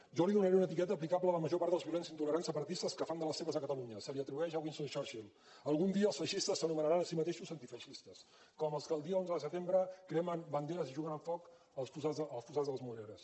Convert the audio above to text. jo li donaré una etiqueta aplicable a la major part dels violents intolerants separatistes que fan de les seves a catalunya se li atribueix a winston churchill algun dia els feixistes s’anomenaran a si mateixos antifeixistes com els que el dia onze de setembre cremen banderes juguen amb foc al fossar de les moreres